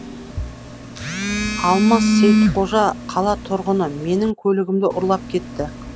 алмас сейітқожа қала тұрғыны менің көлігімді ұрлап кетті